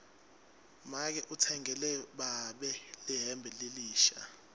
make utsengele babe lihembe lelisha